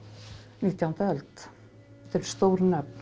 nítjándu öld þetta eru stór nöfn